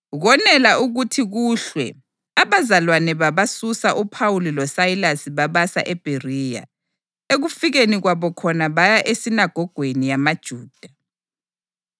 Konela ukuthi kuhlwe abazalwane babasusa uPhawuli loSayilasi babasa eBheriya. Ekufikeni kwabo khona baya esinagogweni yamaJuda.